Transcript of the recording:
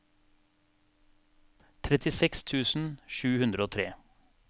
trettiseks tusen sju hundre og tre